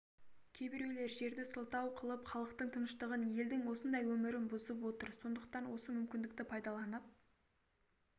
кейбіреулер жерді сылтау қылып халықтың тыныштығын елдің осындай өмірін бұзып отыр сондықтан осы мүмкіндікті пайдаланып